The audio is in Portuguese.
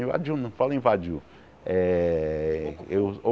Invadiu, não fala invadiu. Eh eu